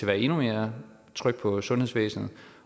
være endnu mere tryk på sundhedsvæsenet